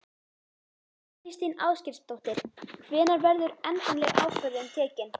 Þóra Kristín Ásgeirsdóttir: Hvenær verður endaleg ákvörðun tekin?